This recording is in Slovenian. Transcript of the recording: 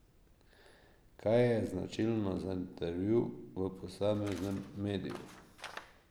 Kaj je značilno za intervju v posameznem mediju?